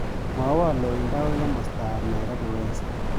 Mwawon loindo agoi komostap nairobi west